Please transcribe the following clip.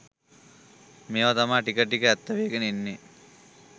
මේව තමා ටික ටික ඇත්ත වේගෙන එන්නේ